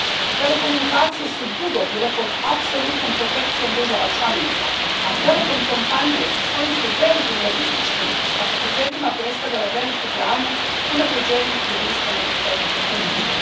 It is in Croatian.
Telekomunikacije su dugo bile pod apsolutnom protekcijom država članica, a telekom kompanije sa svojim su velikim lobističkim kapacitetima predstavljale veliku branu unaprjeđenju jedinstvenog europskog tržišta.